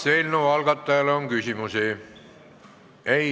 Kas eelnõu algatajale on küsimusi?